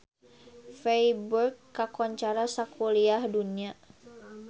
Feiburg kakoncara sakuliah dunya